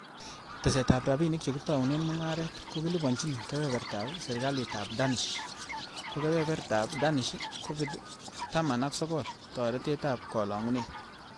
Tesetab rabinik che kitounen mungaret ko kiliponyin kebeberta serkaliab Danish, ko kebeber tab Danish''Covid-taman ak sogol toretet ab kolongunet'' .